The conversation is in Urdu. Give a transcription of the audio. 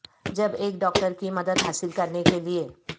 جب ایک ڈاکٹر کی مدد حاصل کرنے کے لئے